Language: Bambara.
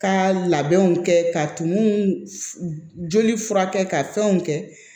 Ka labɛnw kɛ ka tumu furakɛ ka fɛnw kɛ